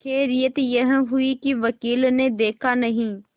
खैरियत यह हुई कि वकील ने देखा नहीं